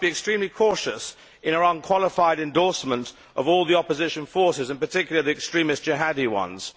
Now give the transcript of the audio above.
We must be extremely cautious in our unqualified endorsements of all the opposition forces, in particular the extremist Jihadi ones.